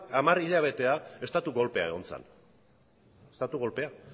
hamar hilabetera estatu kolpea egon zen